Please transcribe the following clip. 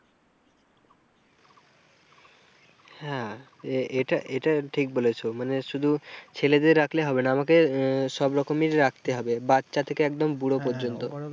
এটা এটা ঠিক বলেছ মানে শুধু ছেলেদের রাখলে হবে না আমাকে আহ সব রকমেরই রাখতে হবে, বাচ্চা থেকে একদম বুড়ো পর্যন্ত।